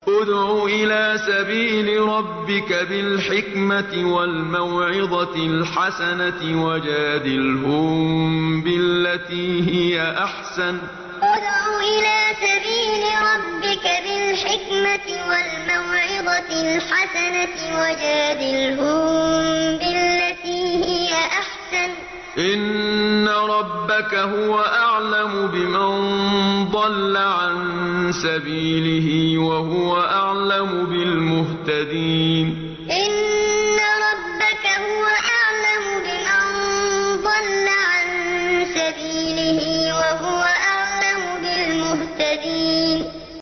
ادْعُ إِلَىٰ سَبِيلِ رَبِّكَ بِالْحِكْمَةِ وَالْمَوْعِظَةِ الْحَسَنَةِ ۖ وَجَادِلْهُم بِالَّتِي هِيَ أَحْسَنُ ۚ إِنَّ رَبَّكَ هُوَ أَعْلَمُ بِمَن ضَلَّ عَن سَبِيلِهِ ۖ وَهُوَ أَعْلَمُ بِالْمُهْتَدِينَ ادْعُ إِلَىٰ سَبِيلِ رَبِّكَ بِالْحِكْمَةِ وَالْمَوْعِظَةِ الْحَسَنَةِ ۖ وَجَادِلْهُم بِالَّتِي هِيَ أَحْسَنُ ۚ إِنَّ رَبَّكَ هُوَ أَعْلَمُ بِمَن ضَلَّ عَن سَبِيلِهِ ۖ وَهُوَ أَعْلَمُ بِالْمُهْتَدِينَ